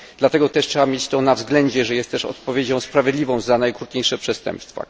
Dlatego też trzeba to mieć na względzie, że taka kara jest też odpowiedzią sprawiedliwą za najokrutniejsze przestępstwa.